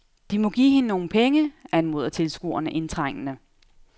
De må give hende nogle penge, anmoder tilskuerne indtrængende.